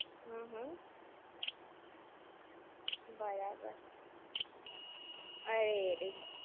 હમ હમ. બરાબર. અરે રે!